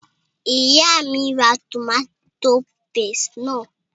Ìyá mí n ra tòmátò paste náà